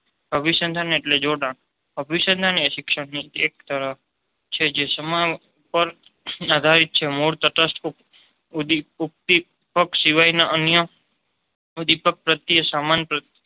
અભીસંધાન એટલે જોડાણ. અભિસંદન એ શિક્ષણની એક તરહ છે જેસમાન પર આધારિત છે. મોરતટથ પક્ષ શિવાય ના અન્ય ઉડિપીગ પ્રત્યે સમાન